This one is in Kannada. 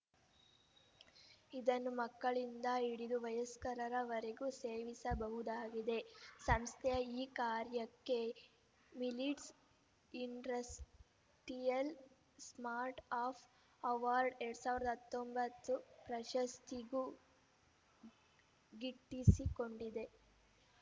ಇದನ್ನು ಮಕ್ಕಳಿಂದ ಹಿಡಿದು ವಯಸ್ಕರವರೆಗೂ ಸೇವಿಸಬಹುದಾಗಿದೆ ಸಂಸ್ಥೆಯ ಈ ಕಾರ್ಯಕ್ಕೆ millets industrial start up award ಎರಡ್ ಸಾವಿರದ ಹತ್ತೊಂಬತ್ತು ಪ್ರಶಸ್ತಿಯೂ ಗಿಟ್ಟಿಸಿಕೊಂಡಿದೆ